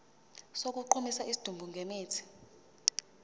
sokugqumisa isidumbu ngemithi